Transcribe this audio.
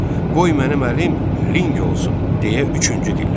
Qoy mənim əlim ling olsun deyə üçüncü dilləndi.